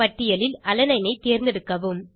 பட்டியலில் அலனைன் ஐ தேர்ந்தெடுக்கவும்